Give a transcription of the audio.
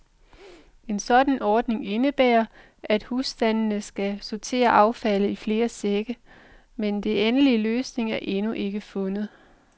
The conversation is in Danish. En sådan ordning indebærer, at husstandene skal sortere affaldet i flere sække, men den endelige løsning er endnu ikke fundet.